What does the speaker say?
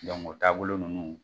o taabolo ninnu.